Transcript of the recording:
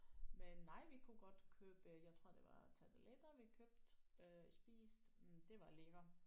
Men nej vi kunne godt købe jeg tror det var tarteletter vi købte øh og spiste mm det var lækkert